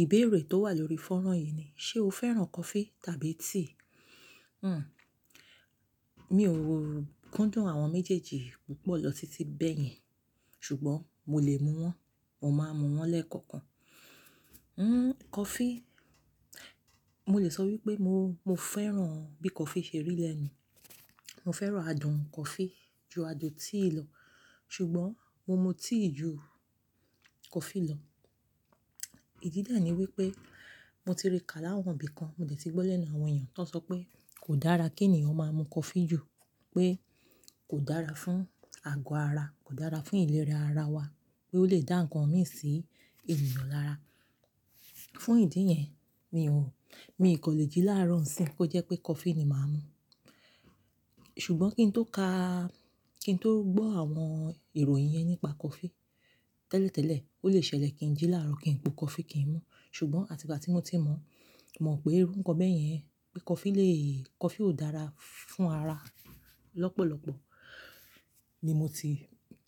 Ìbéèrè tó wà lórí fónrán yìí ni, ṣe o fẹ́ràn coffee tàbí tea? Hmm, mi ò rókúndùn àwọn méjèèjì púpọ̀ lọ títí bẹ́yen ṣùgbọ́n mo lè mú wọn, mo máa mú wọn lẹ́kọ̀ọ̀kan. Hmm, coffee, mo lè sọ wípé mo, mo fẹ́ràn bí coffee ṣe rí lẹ́nu. Mo fẹ́ràn adùn coffee ju adùn tea lọ ṣùgbọ́n mo mu tea ju coffee lọ. Ìdí dáàní wípé mo ti rí ká láwọn ibìkan, mo dẹ̀ ti gbọ́ lẹ́nu àwọn èèyàn tó sọ pé kò dára kí ènìyàn máa mu coffee jù, pé kò dára fún àgọ́ ara, kò dára fún ìlera ara wa, pé ó lè dá ǹkan mí sí ènìyàn lára. Fún ìdí yẹn, mi ò, mi kò lè jí láàárọ̀ ńsìn kó jẹ́ pé coffee ni màá mú. Ṣùgbọ́n kí n tó ka, kí n tó gbọ́ àwọn ìròyìn yẹn nípa coffee, tẹ́lẹ̀tẹ́lẹ̀ ó lè ṣẹlẹ̀ kí n jí láàárọ̀ kí n po coffee kí n mú. Ṣùgbọ́n àti ìgbà tí mo ti mọ̀, mo mọ̀ pé irú ǹkan bẹ́ẹ̀ yẹn, pé coffee lè, coffee ò dára fún ara. Lọ́pọ̀lọ́pọ̀ ni mo ti,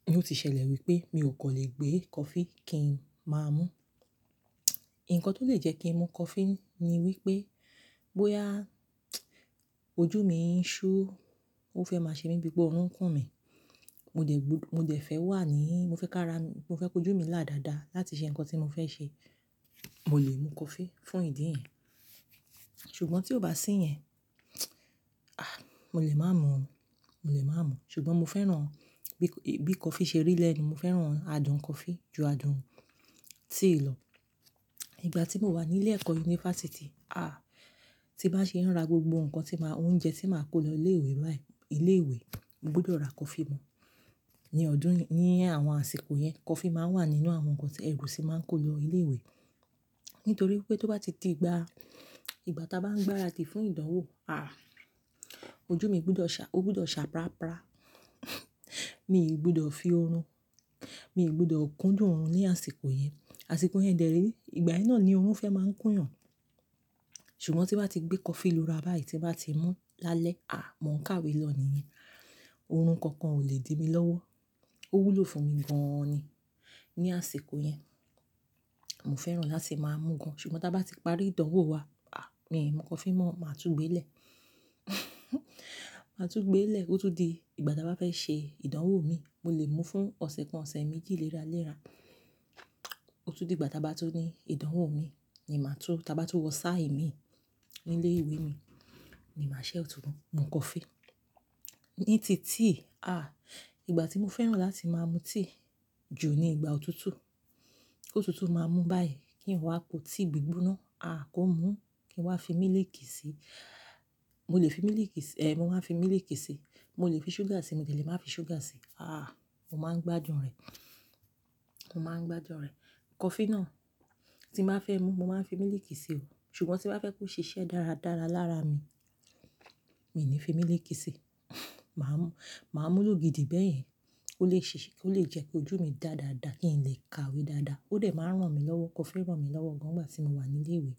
ni ó ti ṣẹlẹ̀ wípé mi ò kò lè gbé coffee kí n máa mú. Ǹkan tó lè jẹ́ kí n mu coffee ni wípé bóyá ojú mi ń ṣú, ó fẹ́ máa ṣe mí bíi pé ọrùn ń kún mi, mo dẹ̀ gb-- mo dẹ̀ fẹ́ wà ní, mo fẹ́ ká ra, mo fẹ́ kojú mi lá dada láti ṣe ǹkan tí mo fẹ́ ṣe, mo lè mu coffee fún ìdí yẹn. Ṣùgbọ́n tí ó bá sí yẹn, à, mo lè má mú ọ́n, mo lè má mú ọ́n. Ṣùgbọ́n mo fẹ́ràn bí coffee ṣe rí lẹ́nu, mo fẹ́ràn adùn coffee ju adùn tea lọ. Igbà tí mo wà ní ilé ẹ̀kọ́ yunifásítì, à, tí bá ṣe ń ra gbogbo ǹkan tí màá, oúnjẹ tí màá kó lọ ilé ìwé báyìí, ilé ìwé, mo gbúdọ̀ ra coffee mú. Ni ọdún, ní àwọn àsìkò yẹn, coffee máa ń wà nínú àwọn ǹkan tí ẹ̀gúsí máa ń kó lọ ilé ìwé. Nítorí pé tó bá ti ti ìgbà, ìgbà táa bá ń gbára di fún ìdánwò, à, ojú mi gbúdọ̀ ṣá, ó gbúdọ̀ ṣà prapra. Mi ò gbúdọ̀ fi oorun, mi ò gbúdọ̀ kúndùn oorun ní àsìkò yẹn. Àsìkò yẹn dẹ̀re ìgbà yẹn náà ni oorun fẹ́ máa ń kún yàn. Ṣùgbọ́n tí wàá ti gbé coffee lu ra báyìí, tí wàá ti mú lále à, mo ń kàwé lọ níyẹn, oorun kankan ò lè di mi lọ́wọ́. Ó wúlò fún mi gan-an ni ní àsìkò yẹn. Mo fẹ́ràn láti máa mú gan-an ṣùgbọ́n táa bá ti parí ìdánwò wa, à, mi coffee mọ́, màá tú gbé lè. Màá tú gbé lè, ó tún di ìgbà táa bá fẹ́ ṣe ìdánwò mi, mo lè mú fún ọ̀sẹ̀ kan, ọ̀sẹ̀ méjì léra léra. Ó tún di ìgbà táa bá tú ní ìdánwò mi ni màá tú, táa bá tú wọ sáà imi ní ilé ìwé mi ni màá ṣẹ́ ọ̀túnún mu coffee. Ní ti tea, à, ìgbà tí mo fẹ́ràn láti máa mu tea ju ni ìgbà òtútù. Ótútù máa mú báyìí kí n wá po tea gbígbóná, à, kó mú kí n wá fi mílìkì sí i. Mo lè fi mílìkì sí i, èè mo máa ń fi mílìkì sí i. Mo lè fi ṣúgà sí i, mo lè lè má fi ṣúgà sí i. À, mo máa ń gbádùn rẹ̀, mo máa ń gbádùn rẹ̀. Coffee náà tí màá fẹ́ mú, mo máa ń fi mílìkì sí i o. Ṣùgbọ́n tí màá fẹ́ kó ṣiṣẹ́ dáradára lára mi, mi ò ní fi mílìkì sí i. Màá mú, màá mú lógi di bẹ́yìí. Ó lè ṣe, ó lè jẹ́ kí ojú mi dáadaa kí n lè kàwé dáadáa. Ó dẹ̀ máa ń ràn mí lọ́wọ́, coffee ràn mí lọ́wọ́ gan-an ìgbà tí mo wà ní ilé ìwé.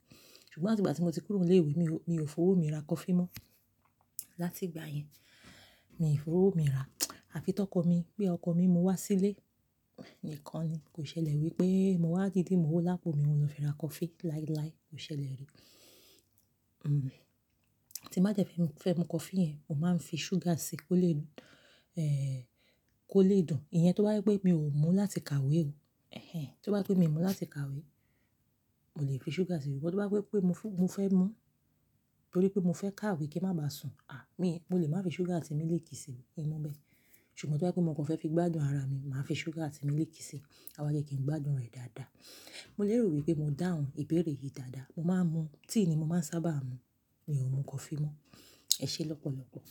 Ṣùgbọ́n àti ìgbà tí mo ti kúrò ní ilé ìwé, mi ò, mi ò fowó mi ra coffee mọ́. Láti ìgbà yẹn, mi ò fowó mi ra. Àfi tọkọ mi bí ọkọ mi mú wá sílé nìkan ni. Kò ṣẹlẹ̀ wípé mo wá dídí mowo lápò mi mo lọ fi ra coffee láì láì, kò ṣẹlẹ̀ rí. Hmm, tí màá jẹ́ fí, fẹ́ mu coffee yẹn, mo máa ń fi ṣúgà sí i kó lè, eh, kó lè dùn. Ìyẹn tó bá wí pé mi ò mú láti kàwé o, ẹhẹ́n. Tó bá pé mi ò mú láti kàwé, mo lè fi ṣúgà sí i. Ṣùgbọ́n tó bá pé pé mo fún, mo fẹ́ mú nítorí pé mo fẹ́ kàwé kí ń má ba sùn, à, mi, mo lè má fi ṣúgà àti mílìkì sí i, mo lè mú bẹ́ẹ̀. Ṣùgbọ́n tó bá pé mo kàn fẹ́ fi gbádùn ara mi, màá fi ṣúgà àti mílìkì sí i, àwa jẹ́ kí n gbádùn rẹ̀ dáadáa. Mo lè rò wípé mo dáhùn ìbéèrè yìí dáadáa. Mo máa ń mu, tea ni mo máa ń sábà mu. Mi ò mu coffee mọ́. Ẹ ṣé lọ́pọ̀lọ́pọ̀.